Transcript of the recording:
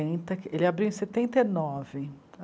ele abriu em setenta e nove.